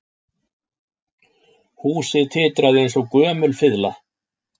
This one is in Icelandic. Húsið titraði eins og gömul fiðla